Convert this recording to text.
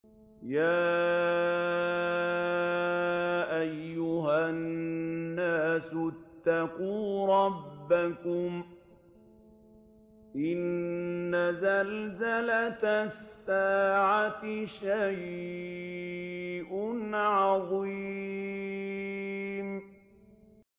يَا أَيُّهَا النَّاسُ اتَّقُوا رَبَّكُمْ ۚ إِنَّ زَلْزَلَةَ السَّاعَةِ شَيْءٌ عَظِيمٌ